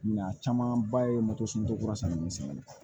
Mina camanba ye moto sokura sanni misɛnni ye